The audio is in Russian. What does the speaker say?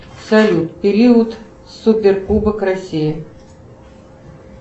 салют период супер кубок россии